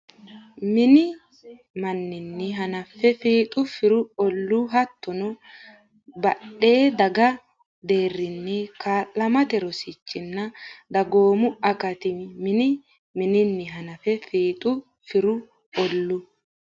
Mini manninni hanafe fiixu firu olluu, hattono heedhan- daga deerrinni kaa’lamate rosichinna dagoomu akati Mini manninni hanafe fiixu firu olluu,.